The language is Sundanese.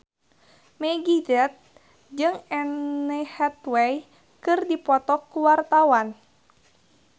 Meggie Z jeung Anne Hathaway keur dipoto ku wartawan